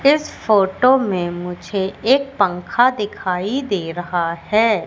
इस फोटो में मुझे एक पंखा दिखाई दे रहा है।